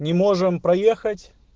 не можем проехать